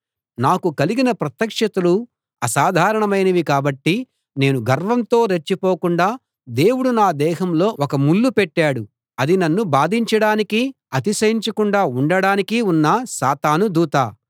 నాకు కలిగిన ప్రత్యక్షతలు అసాధారణమైనవి కాబట్టి నేను గర్వంతో రెచ్చిపోకుండా దేవుడు నా దేహంలో ఒక ముల్లు పెట్టాడు అది నన్ను బాధించడానికి అతిశయించకుండా ఉండటానికి ఉన్న సాతాను దూత